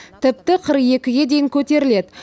тіпті қырық екіге дейін көтеріледі